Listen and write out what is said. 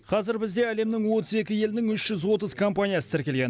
қазір бізде әлемнің отыз екі елінің үш жүз отыз компаниясы тіркелген